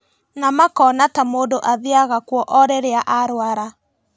Na makona ta mũndũ athiaga kuo o rĩrĩa arũara